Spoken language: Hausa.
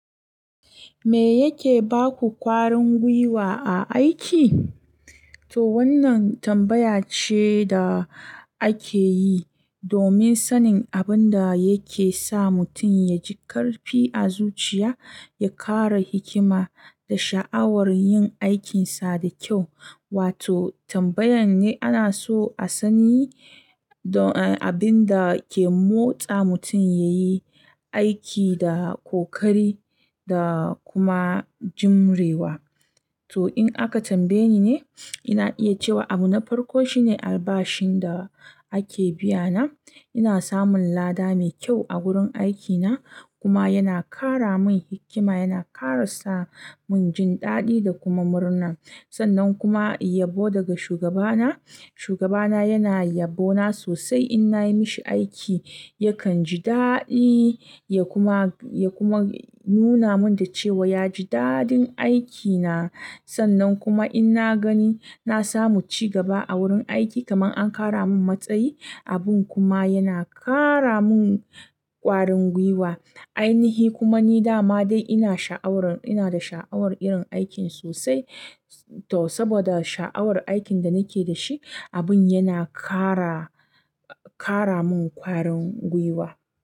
Me yake baku ƙwarin gwiwa a aiki? To wannan tambaya ce da ake yi domin sanin abin da yake sa mutum ya ji ƙarfi a zuciya, ya ƙara hikima da sha'awar yin aikinsa da kyau. Wato tambayan ne ana so a sani abin da ke motsa mutum yayi aiki da ƙoƙari da kuma jurewa. To in aka tambaye ni ne, ina iya cewa abu na farko shine albashin da ake biya na. Ina samun lada mai kyau a wurin aikina kuma yana ƙara min hikima, yana ƙara sa mun jin daɗi da kuma murna. Sannan kuma yabo daga shugabana. Shugabana yana yabo na sosai in nayi mishi aiki. Yakan ji daɗi ya kuma, ya kuma nuna mun dace wa ya ji daɗin aikina. Sannan kuma in na gani na samu ci gaba a wurin aiki kaman an ƙara mun matsayi, abun kuma yana ƙara mun ƙwarin gwiwa. Ainihi kuma ni dama dai ina sha'awar, ina da sha'awar irin aikin sosai. To saboda sha'awar aikin da nake da shi, abin yana ƙara, ƙara mun ƙwarin gwiwa.